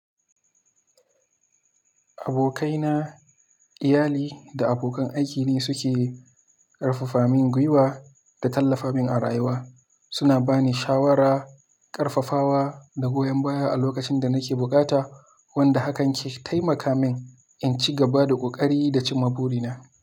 Abokaina, iyali da abokan aiki ne suke ƙarfafamin gwiwa da tallafamin a rayuwa. Suna ba ni shawara, ƙarfafawa da goyon baya a lokacin da nake bukata, wanda hakan ke taimaka min in ci gaba da ƙoƙari da cimma burina.